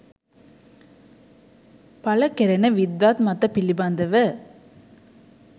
පළ කෙරෙන විද්වත් මත පිළිබඳව